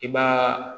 I b'a